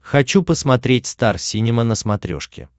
хочу посмотреть стар синема на смотрешке